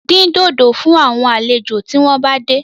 Dín dòdò fún àwọn àlejò tí wọ́n bá dé